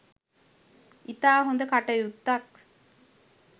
ඉතා හොඳ කටයුත්තක්